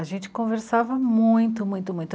A gente conversava muito, muito, muito.